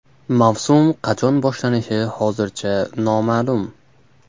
Mavsum qachon boshlanishi hozircha noma’lum.